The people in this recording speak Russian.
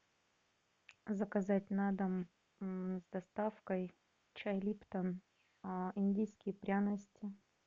заказать на дом с доставкой чай липтон индийские пряности